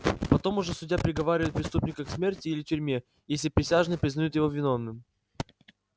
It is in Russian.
потом уже судья приговаривает преступника к смерти или тюрьме если присяжные признают его виновным